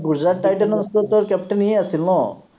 গুজৰাট টাইটেনৰটোতো captain ই এই আছিল ন